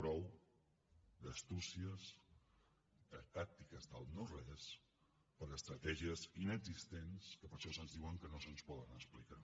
prou d’astúcies de tàctiques del no res per a estratègies inexistents que per això se’ns diu que no se’ns poden explicar